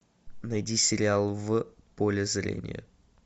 найди сериал в поле зрения